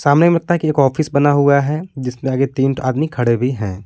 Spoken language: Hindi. सामने लगता की एक ऑफिस बना हुआ है जिसके आगे तीन ठो आदमी खड़े भी हैं।